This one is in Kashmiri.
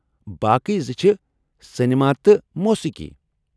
باقٕے زٕ چھ سینِما تہٕ موسیٖقی۔